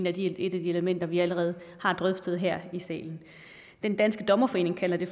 af de elementer vi allerede har drøftet her i salen den danske dommerforening kalder det